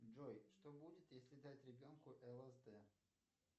джой что будет если дать ребенку лсд